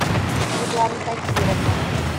светлана тахировна